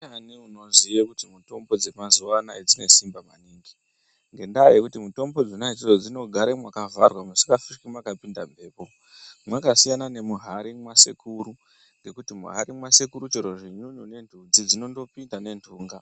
Ndiani unoziye kuti mitombo dzemazuwa anaya dzine simba maningi, ngendaa yekuti mitombo dzona idzodzo dzinogare mwakavharwa musikafi mwakapinda mhepo. Mwakasiyana nemuhari mwasekuru ngekuti muhari mwasekuru chero zvinyunyu nentunzi dzinondopinda nenhunga.